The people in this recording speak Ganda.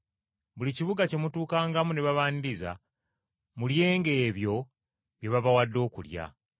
“Buli kibuga kye mutuukangamu ne babaaniriza, mulyenga ebyo bye babawadde okulya.